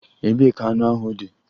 Ebee ka anụ ahụ dị?